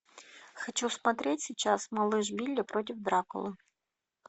хочу смотреть сейчас малыш билли против дракулы